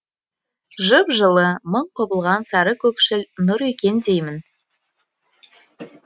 жып жылы мың құбылған сары көкшіл нұр екен деймін